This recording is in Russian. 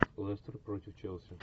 лестер против челси